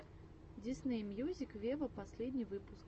дисней мьюзик вево последний выпуск